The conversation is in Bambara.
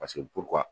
Paseke